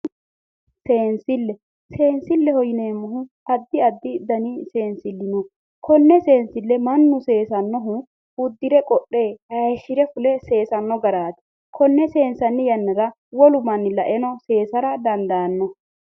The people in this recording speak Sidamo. Seensile, seensile yinneemmohu addi addi danni seensili no kone seensile mannu seesanohu uddirre qodhe hayishire fulle seesano garati ,konne seensanni yannara wo'mu manni lae seesara dandaano.